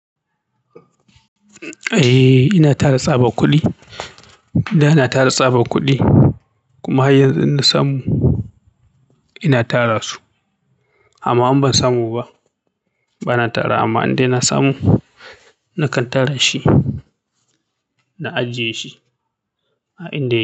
Eh, ina tara tsaba kuɗi. Da na tara tsaba kuɗi kuma har yanzu na samu ina tara su. Amma in ban samu ba, ba na tara. Amma in dai na samu, nakan tara shi ba ajiye shi, a inda ya.